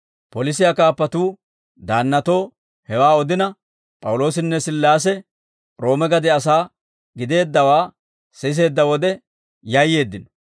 Polisiyaa kaappatuu daannatoo hewaa odina, P'awuloosinne Sillaase Roome gade asaa gideeddawaa siseedda wode, yayyeeddino.